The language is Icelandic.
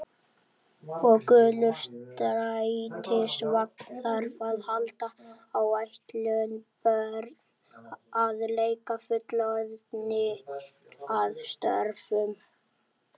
Og gulur strætisvagn þarf að halda áætlun, börn að leik, fullorðnir að störfum.